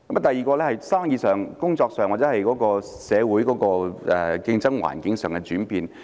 第二，是生意上、工作上或社會競爭環境上的轉變。